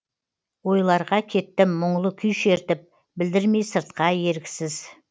ойларға кеттім мұңлы күй шертіп білдірмей сыртқа еріксіз